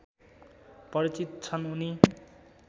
परिचित छन् उनी